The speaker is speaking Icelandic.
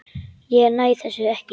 Ég næ þessu ekki.